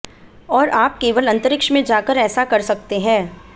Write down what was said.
और आप केवल अंतरिक्ष में जाकर ऐसा कर सकते हैं